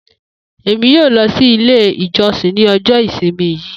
Emi yoo lọ si ile ijọsin ni ọjọ isimi yii